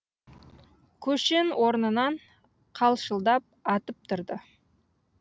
көшен орнынан қалшылдап атып тұрды